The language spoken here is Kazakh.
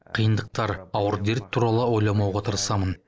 қиындықтар ауыр дерт туралы ойламауға тырысамын